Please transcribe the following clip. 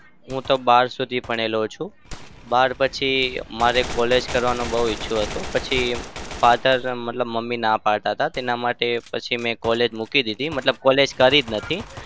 હું તો બાર સુધી ભણેલો છું. બાર પછી મારે college કરવાનો બઉ ઈચ્છો હતો. પછી father મતલબ મમ્મી ના પડતા હતા તેના માટે પછી મેં collage મૂકી દીધી. મતલબ collage કરી જ નથી.